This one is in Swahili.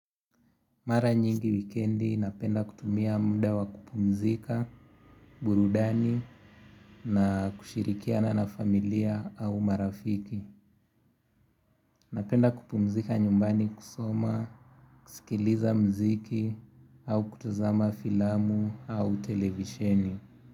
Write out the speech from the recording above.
Mara nyingi wikendi napenda kutumia munda wa kupumzika, burudani na kushirikiana na familia au marafiki. Napenda kupumzika nyumbani kusoma, kusikiliza mziki au kutuzama filamu au televisheni.